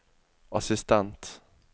assistent